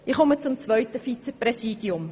Ich komme zum zweiten Vizepräsidium.